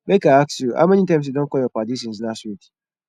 make i ask you how many times you don call your paddy since last week